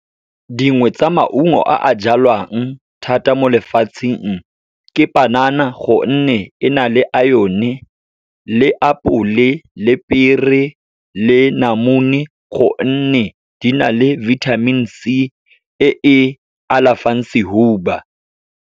Dingwe tsa maungo a a jalwang thata mo lefatsheng, ke panana, gonne e na le iron-e, le apole, le pear-e, le namune gonne di na le vitamin C, e e alafang sehuba.